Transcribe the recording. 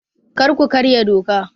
Kar ku karya doka!